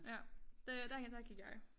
Ja øh derhenne der gik jeg